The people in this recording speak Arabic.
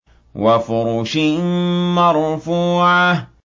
وَفُرُشٍ مَّرْفُوعَةٍ